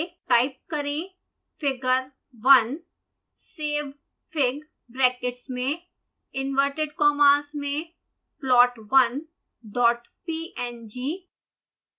type करें